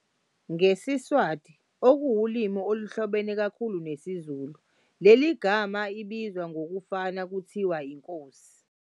NgesiSwati okuwulimi oluhlobene kakhulu nesiZulu leli gama ibizwa ngokufana kuthiwa "Inkosi"